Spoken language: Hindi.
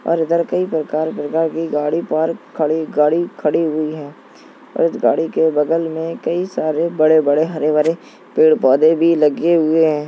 और इधर कई प्रकार-प्रकार की गाड़ी पार्क खड़ी गाड़ी खड़ी हुई हैं और गाड़ी के बगल में कई सारे बड़े-बड़े हरे भरे पेड़ पौधे भी लगे हुए हैं।